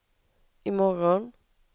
imorgon